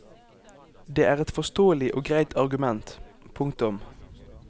Det er et forståelig og greit argument. punktum